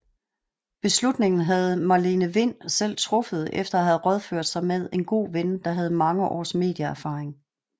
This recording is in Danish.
Beslutningen havde Marlene Wind selv truffet efter at have rådført sig med en god ven der havde mange år medieerfaring